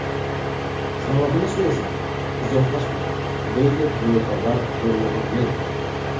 Sababini so‘rasam, izohlashmadi”, deydi Mo‘tabar Nurmuhammedova.